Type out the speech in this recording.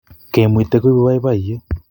kemuite koibu baibaiet